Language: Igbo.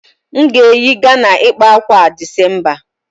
M ga-eyi Ghana ịkpa ákwà a December